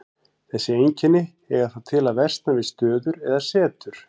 Þessi einkenni eiga það til að versna við stöður eða setur.